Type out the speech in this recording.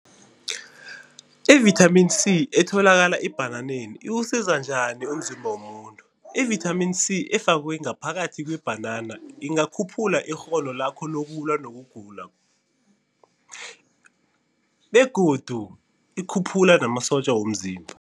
Ivithamini C etholakala ebhananeni, iwusiza njani umzimba womuntu? Ivithamini C efakwe ngaphakathi kwebhanana ingakhuphula ikghono lakho lokulwa nokugula begodu ikhuphula namasotja womzimba.